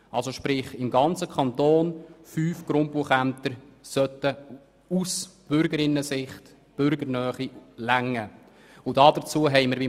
Aus Bürgerinnen- und Bürgersicht sollten fünf Grundbuchämter im Kanton ausreichen.